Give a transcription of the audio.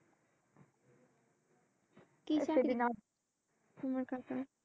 কি চাকরি তোমার কাকার?